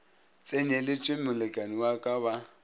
tsenyeletšwe molekani wa ka ba